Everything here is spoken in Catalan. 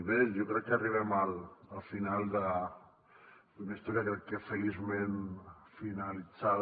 bé jo crec que arribem al final d’una història crec que feliçment finalitzada